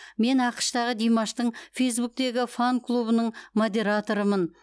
мен ақш тағы димаштың фейсбуктегі фан клубының модераторымын